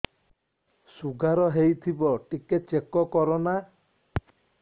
sugar ହେଇଥିବ ଟିକେ check କର ନା